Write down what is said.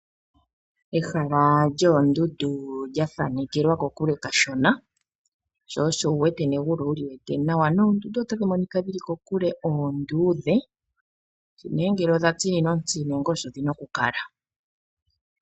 Ehala lyoondundu lyathanekelwa kokule kashona sho osho wuwete negulu oweli tala nawa. Oondundu otadhi monika dhili kokule onduudhe kushi ne ngele odha tsininwa ontsi nenge osho dhina oku kala.